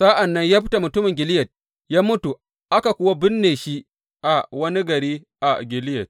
Sa’an nan Yefta mutumin Gileyad ya mutu, aka kuwa binne shi wani gari a Gileyad.